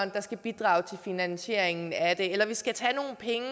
der skal bidrage til finansiering eller at vi skal tage nogle penge